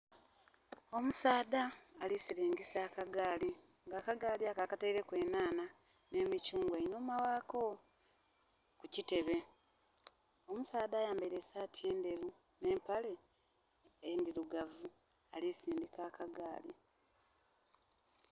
Omusaadha alisiringisa akagali nga akagaali ako akatereku enhanha ene mikyungwa einhuma ghako ku kitebe omusaadha ayambaire sati ndheru ne mapale edirugavu alisindika akagaali